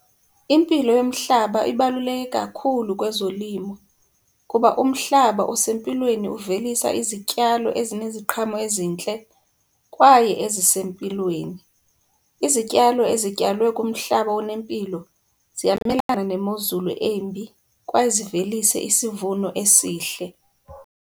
Impilo yomhlaba ibaluleke kakhulu kwezolimo kuba umhlaba usempilweni uvelisa izityalo ezineziqhamo ezintle kwaye ezisempilweni. Izityalo ezityalwe kumhlaba onempilo ziyamelana nemozulu embi kwaye zivelise isivuno esihle.